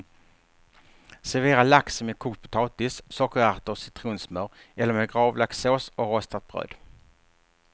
Servera laxen med kokt potatis, sockerärter och citronsmör eller med gravlaxssås och rostat bröd.